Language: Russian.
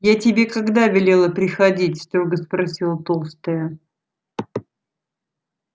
я тебе когда велела приходить строго спросила толстая